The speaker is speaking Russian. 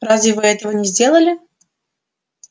разве вы этого не сделали